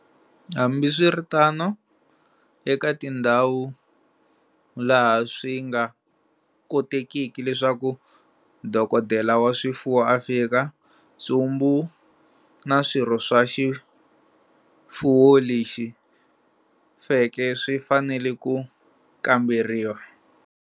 Hambi swi ri tano, eka tindhawu laha swi nga kotekiki leswaku dokodela wa swifuwo a fika, ntsumbu na swirho swa xivuvo lexi feke swi fanele ku kamberiwa.